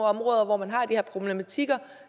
områder hvor man har de her problematikker